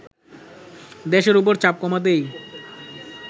দেশের ওপর চাপ কমাতেই